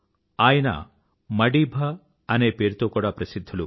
ఆయనను మఢీబా అనే పేరుతో కూడా ప్రసిధ్ధులు